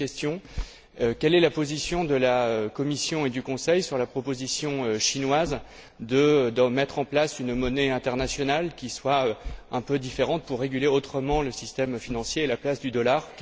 Deuxième question quelle est la position de la Commission et du Conseil sur la proposition chinoise de mettre en place une monnaie internationale qui soit un peu différente, pour réguler autrement le système financier à la place du dollar?